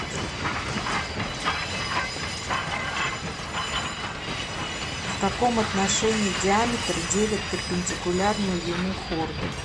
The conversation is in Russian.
в каком отношении диаметр делит перпендикулярную ему хорду